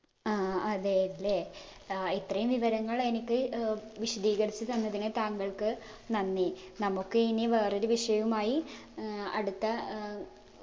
ആ അതെ അല്ലേ അഹ് ഇത്രയും വിവരങ്ങൾ എനിക്ക് ഏർ വിശദീകരിച്ചു തന്നതിന് താങ്കൾക്ക് നന്ദി നമുക്ക് ഇനി വേറൊരു വിഷയവുമായി ഏർ അടുത്ത ഏർ